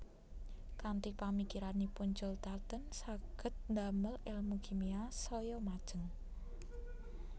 Kanthi pamikiranipun John Dalton saged damel èlmu kimia saya majeng